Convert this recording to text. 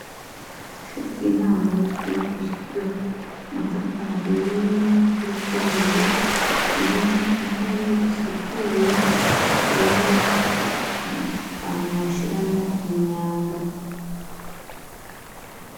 Ishure ry'intango ryububakishijwe amatafari ahiye n'amadirisha y'ibiyo, ririmwo intebe risukuye ririmwo akantu bashiramwo imyanda.